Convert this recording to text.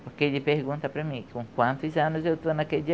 Porque ele pergunta para mim, com quantos anos eu estou naquele dia?